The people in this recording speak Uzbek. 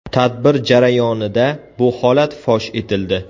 Tadbir jarayonida bu holat fosh etildi.